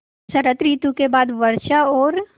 शरत ॠतु के बाद वर्षा और